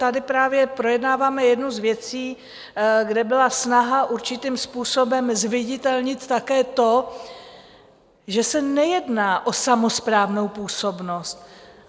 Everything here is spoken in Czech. Tady právě projednáváme jednu z věcí, kde byla snaha určitým způsobem zviditelnit také to, že se nejedná o samosprávnou působnost.